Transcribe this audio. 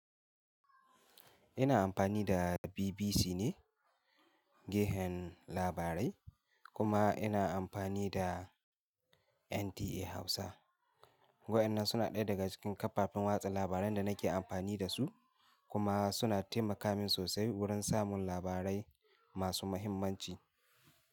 Ina amfani da BBC ne gehen labarai kuma ina amfani da NTA Hausa. Wa'inan suna ɗaya daga cikin kafafen watsa labaran da nake amfani da su kuma suna taimaka min sosai wurin samun labarai masu muhimmanci.